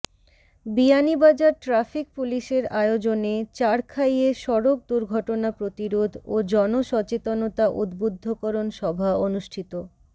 Beanibazar traffic পুলিশের আয়োজনে চারখাইয়ে সড়ক দূর্ঘটনা প্রতিরোধ ও জন সচেতনতা উদ্ধুব্ধকরণ সভা অনুষ্ঠিত